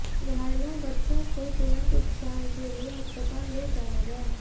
घायलों बच्चों को तुरंत उपचार के लिए अस्पताल ले जाया गया